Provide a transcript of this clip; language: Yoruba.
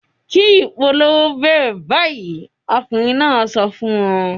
"Kí ìpolongo bẹ̀rẹ̀ báyìí!" Ọkùnrin náà sọ fún wọn.